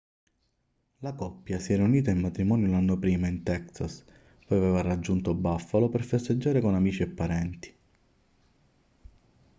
la coppia si era unita in matrimonio l'anno prima in texas poi aveva raggiunto buffalo per festeggiare con amici e parenti